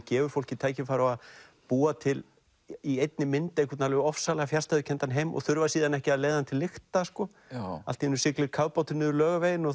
gefur fólki tækifæri á að búa til í einni mynd alveg ofsalega fjarstæðukenndan heim og þurfa síðan ekki að leiða hann til lykta allt í einu siglir kafbátur niður Laugaveginn og